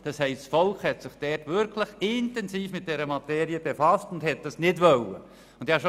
Das Volk hat sich wirklich intensiv mit dieser Materie befasst und wollte diese Vorlage nicht annehmen.